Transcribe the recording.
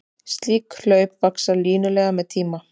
Slík hlaup vaxa línulega með tíma.